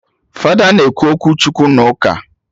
Fada na-ekwu okwu Chukwu na ụka